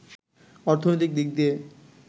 অর্থনৈতিক দিক দিয়ে